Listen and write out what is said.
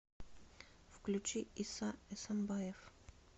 включи иса эсамбаев